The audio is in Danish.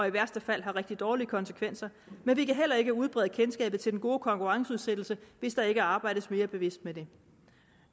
i værste fald har rigtig dårlige konsekvenser men vi kan heller ikke udbrede kendskabet til den gode konkurrenceudsættelse hvis der ikke arbejdes mere bevidst med det